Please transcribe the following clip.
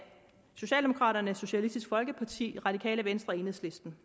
socialdemokraterne socialistisk folkeparti det radikale venstre og enhedslisten